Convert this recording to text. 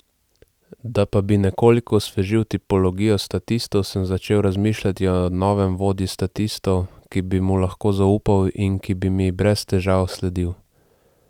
Da pa bi nekoliko osvežil tipologijo statistov, sem začel razmišljati o novem vodji statistov, ki bi mu lahko zaupal in ki bi mi brez težav sledil.